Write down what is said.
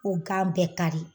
O gan bɛ kari